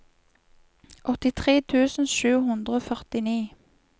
åttitre tusen sju hundre og førtini